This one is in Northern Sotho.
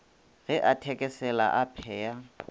ge a thekesela a phaya